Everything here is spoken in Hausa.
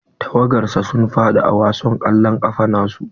Tawagar sa sun faɗi a wasan kwallon kafa na su.